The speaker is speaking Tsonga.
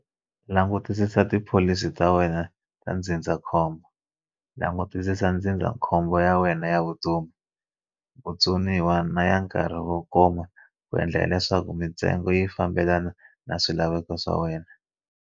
Langutisisa tipholisi ta wena ta ndzindzakhombo langutisisa ndzindzakhombo ya nwena ya vutomi, vutsoniwa na ya nkarhi wo koma ku endlela leswaku mintsengo yi fambelana na swilaveko swa wena.